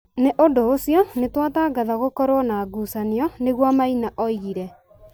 nĩ ũndũ ũcio nĩ twatangatha gũkorũo na ngucanio. Nĩguo Maina oigire.